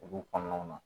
Olu kɔnɔnaw na